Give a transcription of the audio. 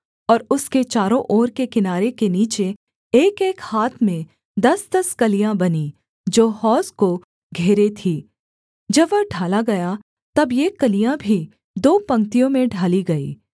और उसके चारों ओर के किनारे के नीचे एकएक हाथ में दसदस कलियाँ बनीं जो हौज को घेरे थीं जब वह ढाला गया तब ये कलियाँ भी दो पंक्तियों में ढाली गईं